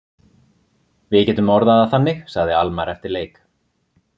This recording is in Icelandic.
Við getum orðað það þannig, sagði Almarr eftir leik.